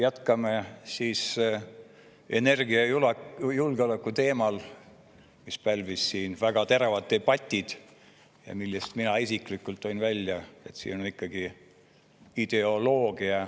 Jätkame siis energiajulgeoleku teemal, mis siin väga terava debati ja mille kohta ma isiklikult tõin välja, et see on ikkagi ideoloogia.